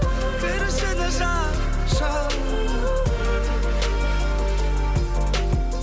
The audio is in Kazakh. кір ішіне жап жап